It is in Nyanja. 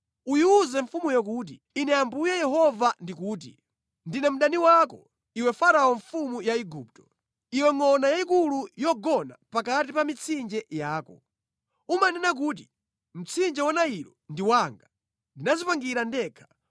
Uyiwuze mfumuyo kuti, ‘Ine Ambuye Yehova ndikuti, “ ‘Ndine mdani wako, iwe Farao mfumu ya Igupto, iwe ngʼona yayikulu yogona pakati pa mitsinje yako. Umanena kuti, ‘Mtsinje wa Nailo ndi wanga; ndinadzipangira ndekha.’